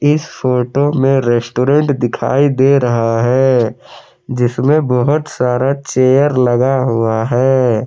इस फोटो में रेस्टोरेंट दिखाई दे रहा है जिसमें बहुत सारा चेयर लगा हुआ है।